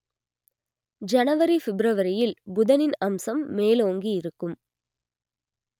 ஜனவரி ஃபிப்ரவரியில் புதனின் அம்சம் மேலோங்கி இருக்கும்